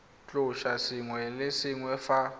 tlosa sengwe le sengwe fa